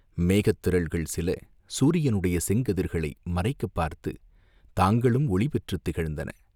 மேகத்திரள்கள் சில சூரியனுடைய செங்கதிர்களை மறைக்கப் பார்த்துத் தாங்களும் ஒளி பெற்றுத் திகழ்ந்தன.